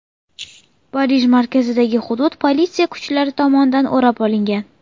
Parij markazidagi hudud politsiya kuchlari tomonidan o‘rab olingan.